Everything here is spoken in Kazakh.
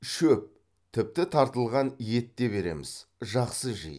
шөп тіпті тартылған ет те береміз жақсы жейді